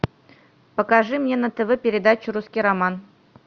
покажи мне на тв передачу русский роман